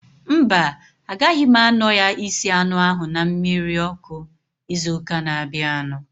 Mba, agaghị m anọ ya isi anụ ahu na mmiri ọkụ ịzụ ụka na abianu